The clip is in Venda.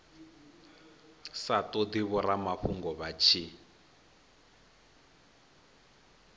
sa todi vhoramafhungo vha tshi